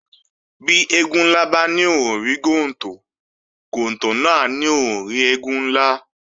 Bí eégún ńlá bá ní òhun ò rí gontò, gontò náà á ní òhun ò rí eégún ńlá